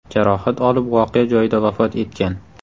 jarohat olib voqea joyida vafot etgan.